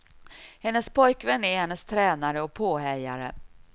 Hennes pojkvän är hennes tränare och påhejare.